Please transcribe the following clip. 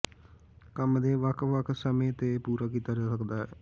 ਕੰਮ ਦੇ ਵੱਖ ਵੱਖ ਸਮੇ ਤੇ ਪੂਰਾ ਕੀਤਾ ਜਾ ਸਕਦਾ ਹੈ